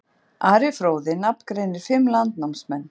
Ari fróði nafngreinir fimm landnámsmenn.